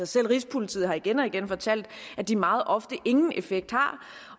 selv rigspolitiet har igen og igen fortalt at de meget ofte ingen effekt har